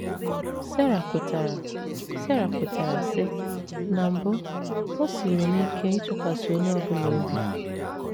Sara kwetara Sara kwetara, sị: “ Na mbụ, o siiri m ike ịtụkwasị onye ọ bụla obi.